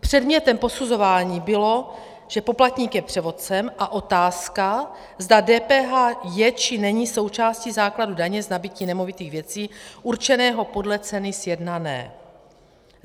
Předmětem posuzování bylo, že poplatník je převodcem, a otázka, zda DPH je či není součástí základu daně z nabytí nemovitých věcí určeného podle ceny sjednané.